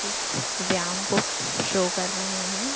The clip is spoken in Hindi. एक व्यायाम को शो कर रहे हैं।